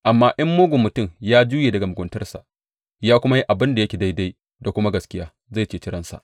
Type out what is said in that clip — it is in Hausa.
Amma in mugun mutum ya juye daga muguntarsa ya kuma yi abin da yake daidai da kuma gaskiya, zai ceci ransa.